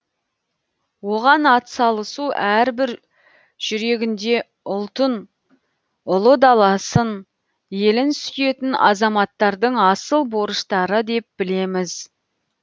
оған ат салысу әрбір жүрегінде ұлтын ұлы даласын елін сүйетін азаматтардың асыл борыштары деп білеміз